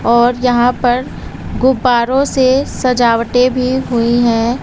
और यहां पर गुब्बारों से सजावटे भी हुई हैं।